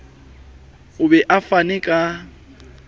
o be o fane ka